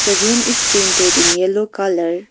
The room is painted in yellow colour .